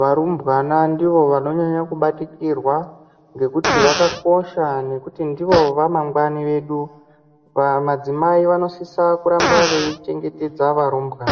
varumbwana ndivo vanonyanya kubatikirwa ngekuti vakakosha nekuti ndivo ramangwani redu madzimai vanosisa kuramba veichengeta varumbwana.